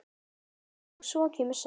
Og svo kemur saga: